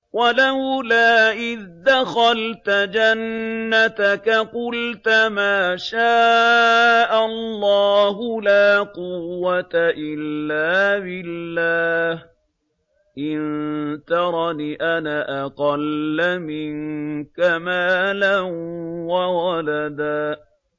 وَلَوْلَا إِذْ دَخَلْتَ جَنَّتَكَ قُلْتَ مَا شَاءَ اللَّهُ لَا قُوَّةَ إِلَّا بِاللَّهِ ۚ إِن تَرَنِ أَنَا أَقَلَّ مِنكَ مَالًا وَوَلَدًا